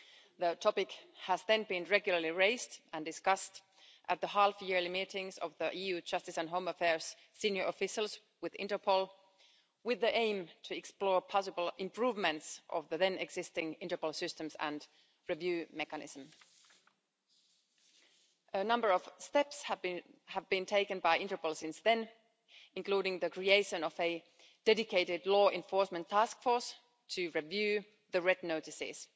The issue was regularly raised and discussed at the half yearly meetings of the EU Justice and Home Affairs senior officials with Interpol, with the aim of exploring possible improvements to the then existing Interpol systems and review mechanisms. A number of steps have been taken by Interpol since then, including the creation of a dedicated law enforcement task force to review the red notices.